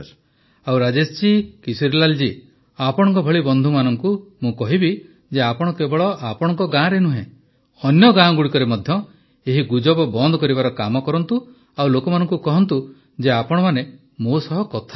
ପ୍ରଧାନମନ୍ତ୍ରୀ ଆଉ ରାଜେଶ ଜୀ କିଶୋରୀଲାଲ ଜୀ ଆପଣଙ୍କ ଭଳି ବନ୍ଧୁମାନଙ୍କୁ ମୁଁ କହିବି ଯେ ଆପଣ କେବଳ ଆପଣଙ୍କ ଗାଁରେ ନୁହଁ ଅନ୍ୟ ଗାଁଗୁଡ଼ିକରେ ମଧ୍ୟ ଏହି ଗୁଜବ ବନ୍ଦ କରିବାର କାମ କରନ୍ତୁ ଆଉ ଲୋକମାନଙ୍କୁ କହନ୍ତୁ ଯେ ଆପଣମାନେ ମୋ ସହ କଥା ହୋଇଛନ୍ତି